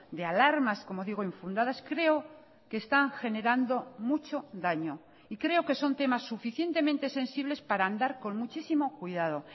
de alarmas como digo infundadas creo que está generando mucho daño y creo que son temas suficientemente sensibles para andar con muchísimo cuidado